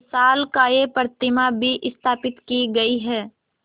विशालकाय प्रतिमा भी स्थापित की गई है